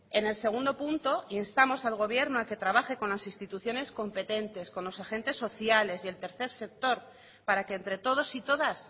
en el segundo punto instamos al gobierno a que trabaje con las instituciones competentes con los agentes sociales y el tercer sector para que entre todos y todas